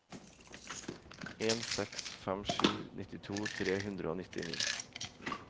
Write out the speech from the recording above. en seks fem sju nittito tre hundre og nittini